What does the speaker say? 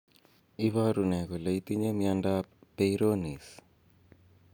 Iporu ne kole itinye nmiondap Peyronie's.